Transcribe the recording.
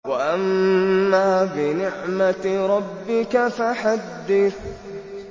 وَأَمَّا بِنِعْمَةِ رَبِّكَ فَحَدِّثْ